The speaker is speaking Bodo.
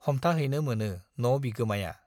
हमथाहैनो मोनो न' बिगोमाया।